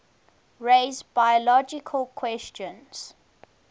raise biological questions